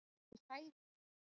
Þetta er hræðilegt